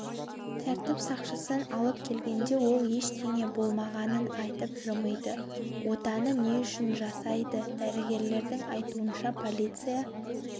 тәртіп сақшысын алып келгенде ол ештеңе болмағанын айтып жымиды отаны не үшін жасайды дәрігерлердің айтуынша полиция